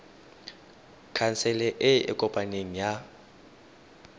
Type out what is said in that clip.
khansele e e kopaneng ya